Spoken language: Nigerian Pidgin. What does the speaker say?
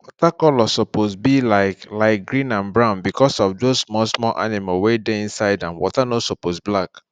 water color suppose be like like green and brown because of those small small animal wey dey inside am water no suppose black